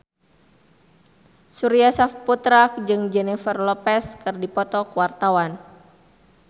Surya Saputra jeung Jennifer Lopez keur dipoto ku wartawan